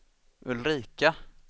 Ulrika